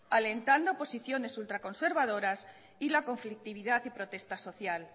alentando posiciones ultraconservadoras y la conflictividad y protesta social